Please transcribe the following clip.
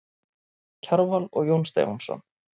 Kjarval og Jón Stefánsson.